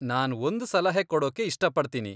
ನಾನ್ ಒಂದ್ ಸಲಹೆ ಕೊಡೋಕ್ಕೆ ಇಷ್ಟಪಡ್ತೀನಿ.